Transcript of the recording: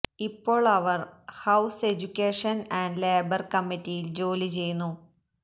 ഇപ്പോൾ അവർ house education and labour കമ്മിറ്റിയിൽ ജോലി ചെയ്യുന്നു